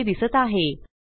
ती येथे दिसत आहे